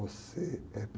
Você é